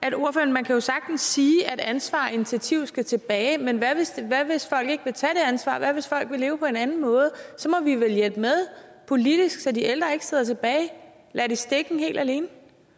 man kan jo sagtens sige at ansvar og initiativ skal tilbage men hvad hvis folk ikke vil tage det ansvar hvad hvis folk vil leve på en anden måde så må vi vel hjælpe politisk så de ældre ikke sidder tilbage ladt i stikken helt alene